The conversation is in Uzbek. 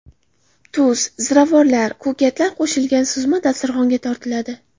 Tuz, ziravorlar, ko‘katlar qo‘shilgan suzma dasturxonga tortiladi.